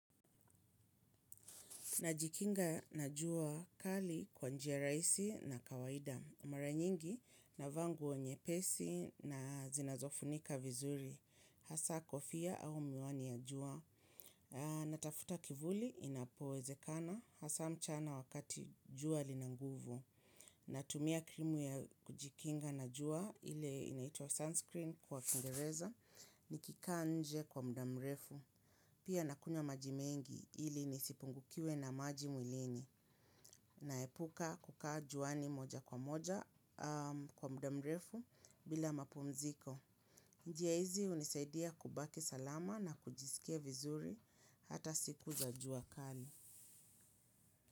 Najikinga na jua kali kwa njia raisi na kawaida. Mara nyingi navaa nguo nyepesi na zinazo funika vizuri. Hasa kofia au miwani ya jua. Natafuta kivuli inapowezekana. Hasa mchana wakati jua linanguvu. Natumia krimu ya kujikinga na jua. Ile inaitwa sunscreen kwa kingereza. Nikikaa nje kwa mudamrefu. Pia nakunywa majimengi ili nisipungukiwe na maji mwilini. Naepuka kukaa juani moja kwa moja kwa mudamrefu bila mapumziko. Njia hizi unisaidia kubaki salama na kujisikia vizuri hata siku za jua kali.